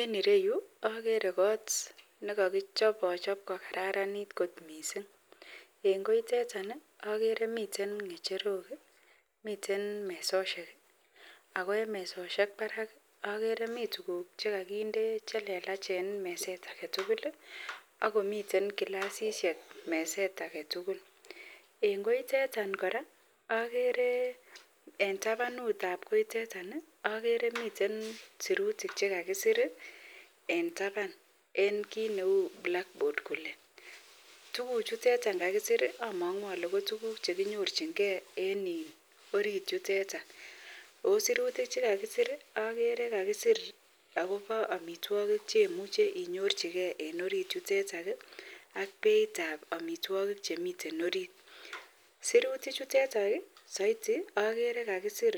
En ireyu agere kot nekakicho achop kokararanit kot mising en koiteton agere miten ngecherok ako miten mesoshek ako en mesisiek Barak agere miten tuguk chekakinde chelelach en meset agetugul akomiten glasishek meset agetugul amun en koiteton koraa agere en tabanut ab koiteton agere miten berutik chekakisir en taban en kit Neu Cs blackboard Cs tuguk chuton amangu Kole tuguk chekenyorchin gei en sirutik chekakisir agere kakisir akobo amitwagik cheimuche inyorchigei en orit yuteton AK Beit ab amitwagik Chemiten orit sirutik chuteton saiti agere kakisir